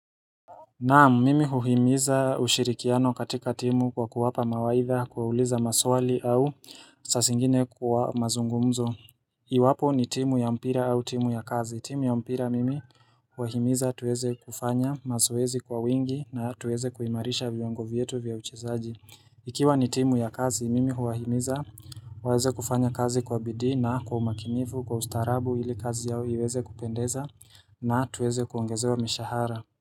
Naam, mimi huhimiza ushirikiano katika timu kwa kuwapa mawaitha kuwauliza maswali au saa zingine kwa mazungumzo. Iwapo ni timu ya mpira au timu ya kazi. Timu ya mpira mimi huwaimiza tuweze kufanya mazoezi kwa wingi. Na tuweze kuimarisha vyongo vyetu vya uchezaji. Ikiwa ni timu ya kazi. Mimi huwaimiza, waweze kufanya kazi kwa bidii na kwa umakinifu kwa ustarabu ili kazi yao iweze kupendeza. Na tuweze kuongezewa mishahara.